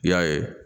I y'a ye